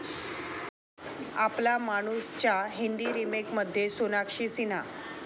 आपला मानूस'च्या हिंदी रिमेकमध्ये सोनाक्षी सिन्हा